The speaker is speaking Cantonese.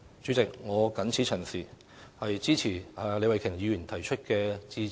主席，我謹此陳辭，支持李慧琼議員提出的致謝議案。